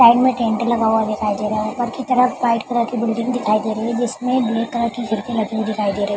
Side में tent लगा हुआ दिखाई दे रहा है ऊपर की तरफ वाइट कलर की बिल्डिंग दिखाई दे रही है जिसमे ग्रीन कलर की खिड़की लगी हुई दिखाई दे रही है।